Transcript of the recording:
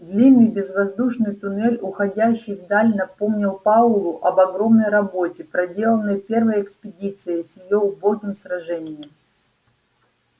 длинный безвоздушный туннель уходящий вдаль напомнил пауэллу об огромной работе проделанной первой экспедицией с её убогим сражением